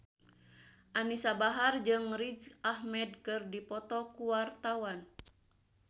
Anisa Bahar jeung Riz Ahmed keur dipoto ku wartawan